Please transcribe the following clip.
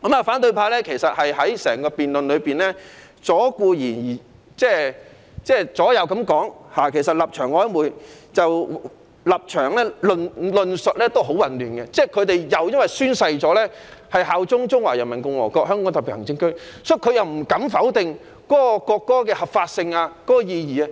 反對派在辯論中顧左右而言他，立場曖昧，論述混亂，可能因為他們曾宣誓效忠中華人民共和國香港特別行政區，不敢否定國歌的合法性和意義。